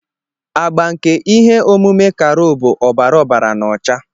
Agba nke ihe omume carol bụ ọbara ọbara na ọcha.